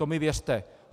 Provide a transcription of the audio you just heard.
To mi věřte.